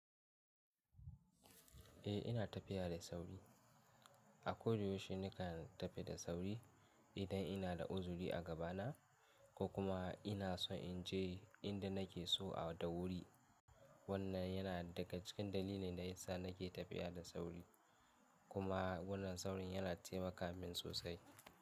Eh ina tafiya da sauri. A koyaushe nakan tafi da sauri idan ina da uzuri a gabana ko kuma ina so in je inda nake so da wuri. Wannan yana daga cikin dalilin da yasa nake tafiya da sauri kuma wannan saurin yana taimaka min sosai.